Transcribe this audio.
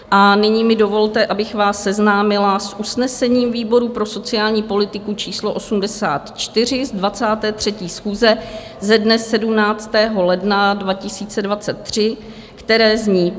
A nyní mi dovolte, abych vás seznámila s usnesením výboru pro sociální politiku číslo 84 z 23. schůze ze dne 17. ledna 2023, které zní: